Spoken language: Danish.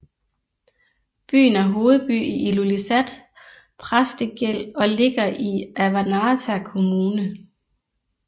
Byen er hovedby i Ilulissat Præstegæld og ligger i Avannaata Kommune